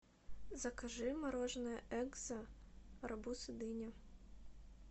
закажи мороженое экзо арбуз и дыня